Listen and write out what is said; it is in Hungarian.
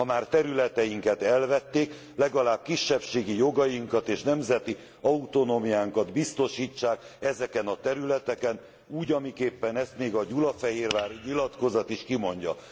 Ha már területeinket elvették, legalább kisebbségi jogainkat és nemzeti autonómiánkat biztosítsák ezeken a területeken, úgy amiképpen ezt még a Gyulafehérvári Nyilatkozat is kimondja.